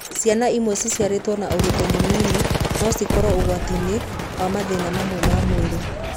Ciana imwe ciciarĩtwo na ũritũ mũnini no cikorwo ũgwati-inĩ wa mathĩna mamwe ma mwĩrĩ.